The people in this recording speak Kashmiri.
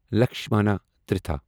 لکشمنا تیرتھا